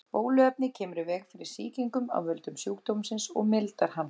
Bóluefnið kemur í veg fyrir sýkingu af völdum sjúkdómsins og mildar hann.